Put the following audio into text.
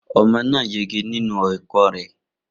Omo náà yege nínú ẹ̀kọ́ rẹ